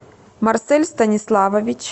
марсель станиславович